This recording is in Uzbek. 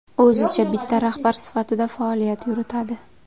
O‘zicha bitta rahbar sifatida faoliyat yuritadi.